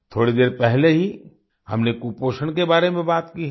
थोड़ी देर पहले ही हमने कुपोषण के बारे में बात की है